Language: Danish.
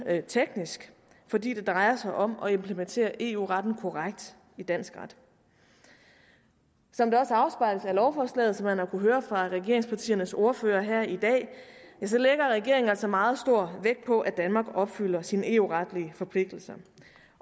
teknisk fordi det drejer sig om at implementere eu retten korrekt i dansk ret som det også afspejles af lovforslaget og som man har kunnet høre fra regeringspartiernes ordførere her i dag lægger regeringen altså meget stor vægt på at danmark opfylder sine eu retlige forpligtelser